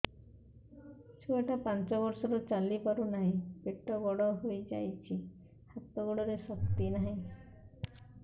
ଛୁଆଟା ପାଞ୍ଚ ବର୍ଷର ଚାଲି ପାରୁ ନାହି ପେଟ ବଡ଼ ହୋଇ ଯାଇଛି ହାତ ଗୋଡ଼ରେ ଶକ୍ତି ନାହିଁ